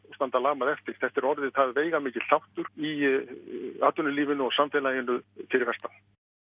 standa lamað eftir þetta er orðið það veigamikill þáttur í atvinnulífinu og samfélaginu fyrir vestan